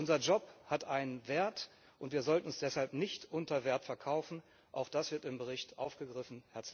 Unser Job hat einen Wert, und wir sollten uns deshalb nicht unter Wert verkaufen, auch das wird im Bericht aufgegriffen.